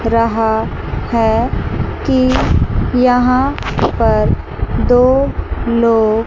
रहा है कि यहां पर दो लो--